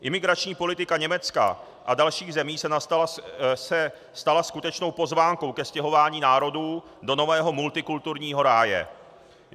Imigrační politika Německa a dalších zemí se stala skutečnou pozvánkou ke stěhování národů do nového multikulturního ráje.